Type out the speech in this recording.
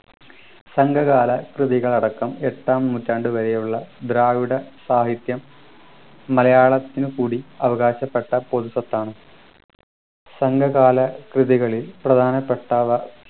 സംഘകാല കൃതികൾ അടക്കം എട്ടാം നൂറ്റാണ്ടു വരെയുള്ള ദ്രാവിഡ സാഹിത്യം മലയാളത്തിനു കൂടി അവകാശപ്പെട്ട പൊതു സ്വത്താണ് സംഘകാല കൃതികളിൽ പ്രധാനപ്പെട്ടവ